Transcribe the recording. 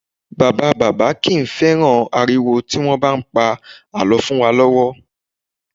Bàbá bàbá kì í fẹ́ràn ariwo tí wọ́n bá ń pa àlọ́ fún wa lọ́wọ́